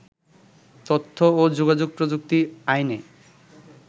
তথ্য ও যোগাযোগ প্রযুক্তি আইনে